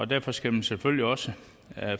derfor skal man selvfølgelig også